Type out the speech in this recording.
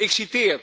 Ik citeer